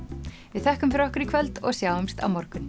við þökkum fyrir okkur í kvöld og sjáumst á morgun